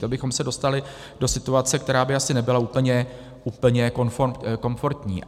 To bychom se dostali do situace, která by asi nebyla úplně komfortní.